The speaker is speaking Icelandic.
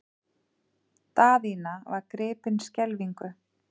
Daðína var gripin skelfingu.